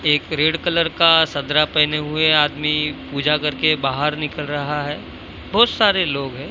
एक red colour का चदरा पहने हुए आदमी पूजा करके बाहर निकल रहा है। बहोत सारे लोग हैं।